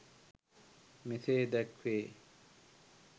මෙසේ දැක්වේ.